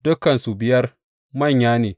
Dukansu biyar manya ne.